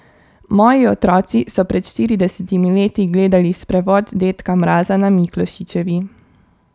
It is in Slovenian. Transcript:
Moji otroci so pred štiridesetimi leti gledali sprevod dedka Mraza na Miklošičevi.